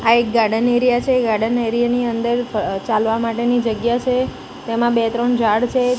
આ એક garden area છે ગાર્ડન એરિયા ની અંદર અહ ચાલવા માટેની જગ્યા છે તેમા બે ત્રણ ઝાડ છે.